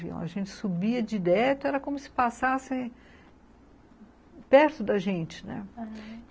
A gente subia direto, era como se passasse perto da gente, né, aham.